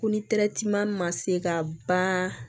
Ko ni ma se ka ba